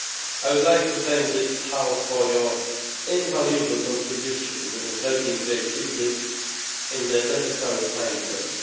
I would like to thank this House for your invaluable contribution in helping to achieve this within the necessary time frame.